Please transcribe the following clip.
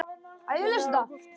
Gunnar: Ágúst?